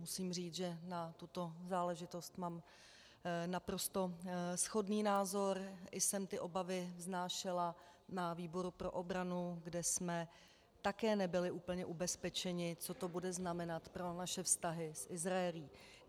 Musím říct, že na tuto záležitost mám naprosto shodný názor, i jsem ty obavy vznášela na výboru pro obranu, kde jsme také nebyli úplně ubezpečeni, co to bude znamenat pro naše vztahy s Izraelem.